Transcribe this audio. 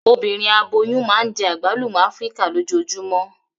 Obinrin aboyun naa njẹ agbalumo Afirika lojoojumọ.